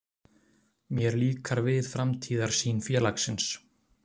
Mér líkar við framtíðarsýn félagsins.